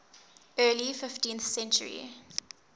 early fifteenth century